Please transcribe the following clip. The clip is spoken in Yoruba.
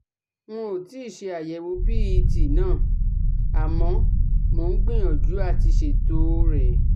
N ò tí ì ṣe àyẹ̀wò PET ná àmọ́ mò ń gbìyànjú àti ṣètò o rẹ̀